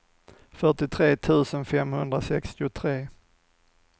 fyrtiotre tusen femhundrasextiotre